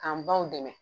K'an baw dɛmɛ